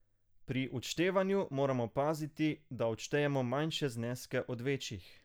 Pri odštevanju moramo paziti, da odštejemo manjše zneske od večjih.